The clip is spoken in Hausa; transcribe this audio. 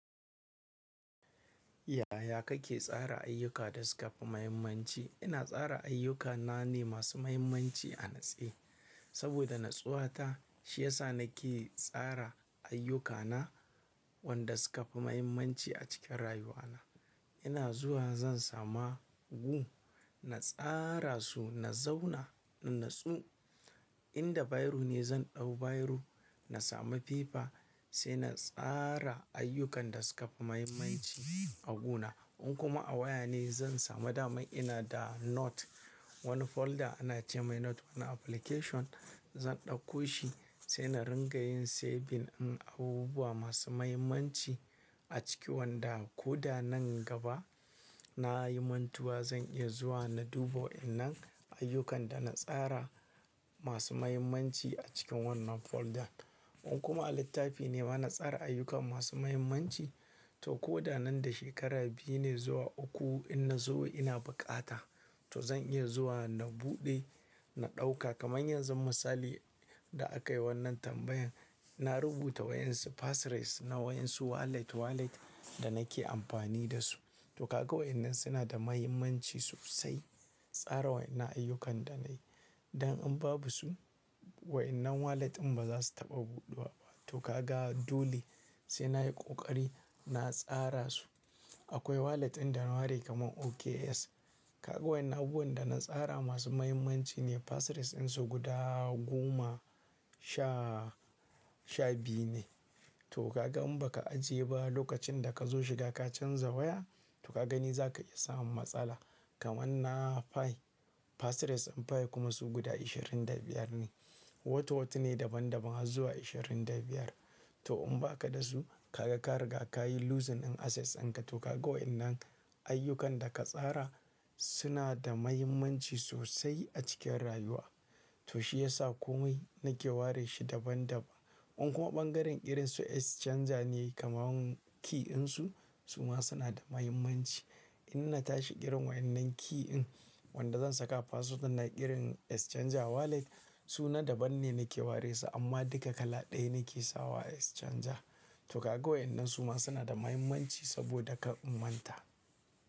Yaya kake tsara ayyuka da suka fi muhimmanci? Ina tsara ayyukana ne masu muhimmanci a natsi. Saboda natsuwa ta shi ya sa nake tsara ayyukana wanda suka fi muhimmanci a cikin rayuwana. Ina zuwa zan sama hugu, na tsara su, na zauna na natsu. In da bairo ne zan ɗau bairo, na sami fefa sai na tsara ayyukan da suka fi mahimmanci a guna. In kuma a waya ne zan sami damai, ina da note. Wani folder ana ce mai note na application zan ɗauko shi sai na ringa yin saving in abubuwa masu muhimmanci a ciki wanda ko da nan gaba na yi mantuwa zan iya zuwa na dubo inda ayyukan da na tsara masu muhimmanci a cikin wannan folder. In kuma a littafi ne bana tsara ayyukan masu muhimmanci to ko da nan da shekara biyu ne zuwa uku in na zo ina bukata to zan iya zuwa na buɗe, na ɗauka kaman yanzu misali da aka yi wannan tambayan. Na rubuta wayan su passres na wayan su wallet wallet da nake amfani da su. To ka ga wa'innan suna da mahimmanci sosai tsara wayan na ayyukan da na yi. Dan in babu su wa'innan wallet in ba za su taɓa buɗuwa ba. To ka ga dole sai na yi ƙoƙari na tsara su. Akwai wallet ɗin da na ware kamar OKx. Ka ga wayan abubuwan da na tsara masu muhimmanci ne passres ɗin su guda goma sha sha biyu ne. To ka ga in baka ajiye ba lokacin da kazo shiga ka canza waya to ka gani zaka iya samun matsala. Kaman nan fi passres ɗin fi kuma su guda ashirin da biyar ne. Wata wata ne daban daban har zuwa ashirin da biyar. To in baka da su kaga ka riga ka rasa dukiya ɗinka. To ka ga wa'innan ayyukan da ka tsara suna da mahimmanci sosai a cikin rayuwa. To shi ya sa komai nake ware shi daban daban. In kuma ɓangaren irin su exchanger ne kamar key ɗin su suma suna da mahimmanci. In na tashi kiran wa'innan key in wanda zan saka password na kiran exchanger wallet suna daban ne nake ware su amma duka kala ɗaya nake sawa exchanger. To ka ga wa'innan suma suna da mahimmanci saboda ka manta.